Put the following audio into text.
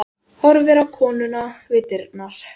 Horfir á konuna við dyrnar.